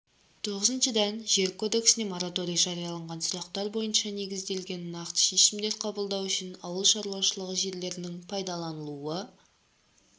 тоғызыншыдан жер кодексінде мораторий жарияланған сұрақтар бойынша негізделген нақты шешімдер қабылдау үшін ауыл шаруашылығы жерлерінің пайдаланылуы